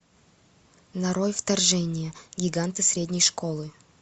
нарой вторжение гиганты средней школы